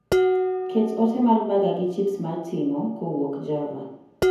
Ket ote mar baga gi chips mar ting'o kowuok java